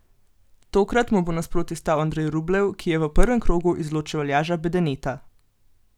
Tokrat mu bo nasproti stal Andrej Rublev, ki je v prvem krogu izločil Aljaža Bedeneta.